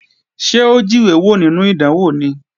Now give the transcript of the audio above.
Ṣé ó jíwé wò nínú ìdánwò ni?